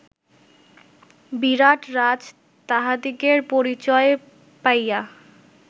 বিরাটরাজ তাঁহাদিগের পরিচয় পাইয়া